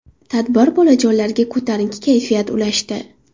Tadbir bolajonlarga ko‘tarinki kayfiyat ulashdi.